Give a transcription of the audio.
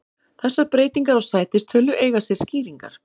Þessar breytingar á sætistölu eiga sér skýringar.